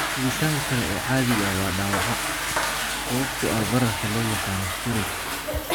Helitaanka kale ee caadiga ah waa dhaawaca axon sababtoo ah bararka loo yaqaan 'spheroids'.